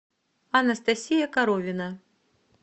анастасия коровина